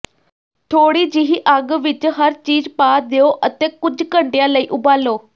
ਥੋੜ੍ਹੀ ਜਿਹੀ ਅੱਗ ਵਿਚ ਹਰ ਚੀਜ਼ ਪਾ ਦਿਓ ਅਤੇ ਕੁਝ ਘੰਟਿਆਂ ਲਈ ਉਬਾਲੋ